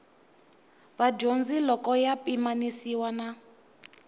vadyondzi loko ya pimanisiwa na